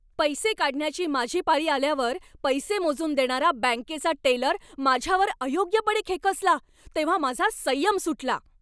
पैसे काढण्याची माझी पाळी आल्यावर पैसे मोजून देणारा बँकेचा टेलर माझ्यावर अयोग्यपणे खेकसला तेव्हा माझा संयम सुटला.